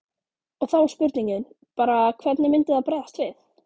Og þá er spurningin bara hvernig myndi það bregðast við?